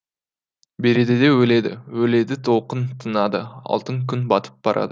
береді де өледі өледі толқын тынады алтын күн батып барады